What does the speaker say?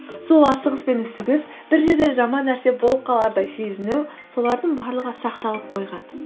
сол асығыс пен үсігіс бір жерде жаман нәрсе болып қалардай сезіну солардың барлығы сақталып қойған